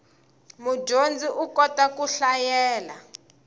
mudyondzi u kota ku hlayela